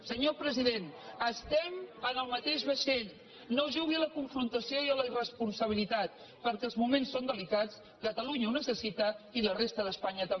senyor president estem en el mateix vaixell no jugui a la confrontació i a la irresponsabilitat perquè els moments són delicats catalunya ho necessita i la resta d’espanya també